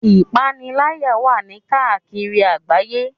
Ìpaniláyà wà ní káàkiri àgbáyé.